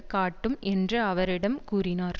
காட்டும் என்று அவர் இடம் கூறினார்